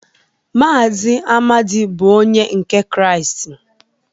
Mazị Amadi bụ onye nke Kraịst.